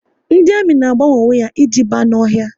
Ndị ami na agbanwe onwe ha e ji ba n'ọhịa